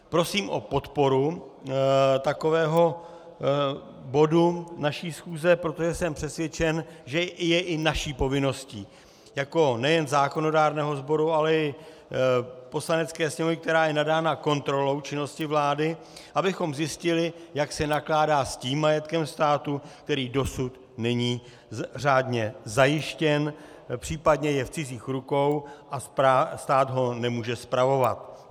Prosím o podporu takového bodu naší schůze, protože jsem přesvědčen, že je i naší povinností, jako nejen zákonodárného sboru, ale i Poslanecké sněmovny, která je nadána kontrolou činnosti vlády, abychom zjistili, jak se nakládá s tím majetkem státu, který dosud není řádně zajištěn, případně je v cizích rukou, a stát ho nemůže spravovat.